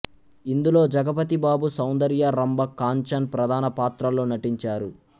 ఇందులో జగపతి బాబు సౌందర్య రంభ కాంచన్ ప్రధాన పాత్రల్లో నటించారు